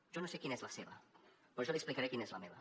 jo no sé quina és la seva però jo li explicaré quina és la meva